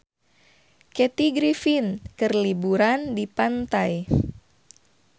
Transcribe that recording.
Kathy Griffin keur liburan di pantai